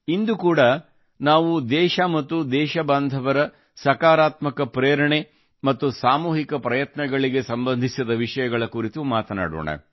ಇಂದು ಕೂಡಾ ನಾವು ದೇಶ ಮತ್ತು ದೇಶಬಾಂಧವರ ಸಕಾರಾತ್ಮಕ ಪ್ರೇರಣೆ ಮತ್ತು ಸಾಮೂಹಿಕ ಪ್ರಯತ್ನಗಳಿಗೆ ಸಂಬಂಧಿಸಿದ ವಿಷಯಗಳ ಕುರಿತು ಮಾತನಾಡೋಣ